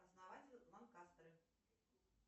основатель ланкастеры